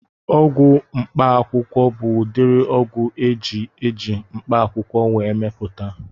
Ọgwụ mkpaakwụkwọ bụ udiri ọgwụ eji eji mkpaakwụkwọ wee mepụta